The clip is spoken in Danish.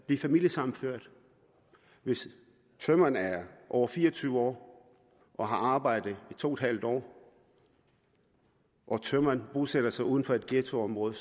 blive familiesammenført hvis tømreren er over fire og tyve år og har arbejdet i to en halv år og tømreren bosætter sig uden for et ghettoområde